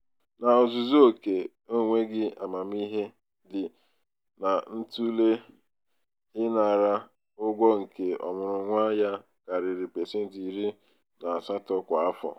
n'ozuzu oke onweghi amamihe dị n'ịtụle ịnara um ụgwọ nke ọmụrụnwa ya karịrị pasentị iri na um asatọ kwa afọ.